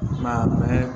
N'a mɛn